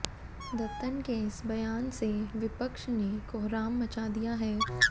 दत्तन के इस बयान से विपक्ष ने कोहराम मचा दिया है